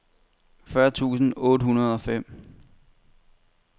fyrre tusind otte hundrede og fem